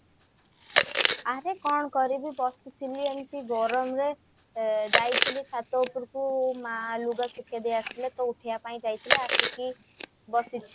ଆରେ କଣ କରିବି ବସିଥିଲି ଆଉ ଏମିତି ଗରମରେ ଯାଇଥିଲି ଛାତ ଉପରକୁ ମା ଲୁଗା ଶୁଖେଇ ଦେଇ ଆସିଥିଲେ ତ ଉଠେଇବା ପାଇଁ ଯାଇଥିଲି ଆସିକି ବସିଛି